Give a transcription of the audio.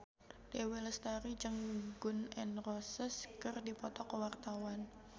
Dewi Lestari jeung Gun N Roses keur dipoto ku wartawan